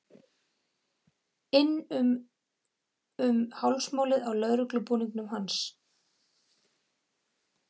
um inn um hálsmálið á lögreglubúningnum hans.